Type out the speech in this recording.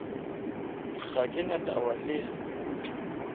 ga ke na taba le